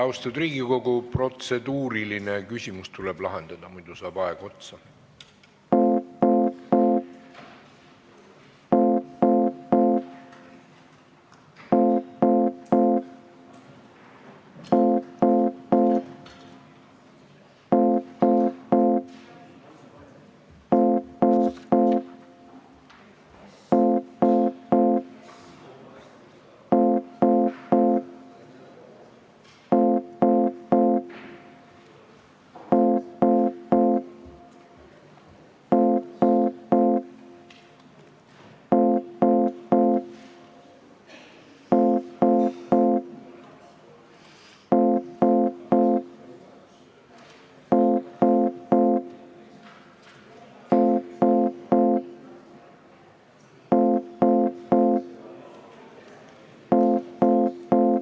Austatud Riigikogu, protseduuriline küsimus tuleb lahendada, enne kui aeg otsa saab.